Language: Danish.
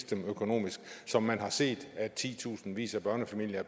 dem økonomisk som man har set at titusindvis af børnefamilier